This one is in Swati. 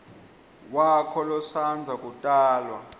wakho losandza kutalwa